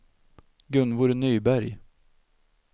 Gunvor Nyberg